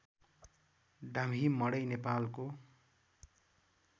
डाम्ही मडै नेपालको